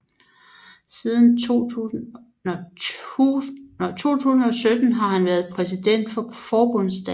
Siden 2017 har han været præsident for Forbundsdagen